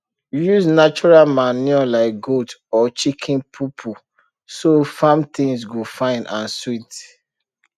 use natural manure like goat or chicken poo poo so farm things go fine and sweet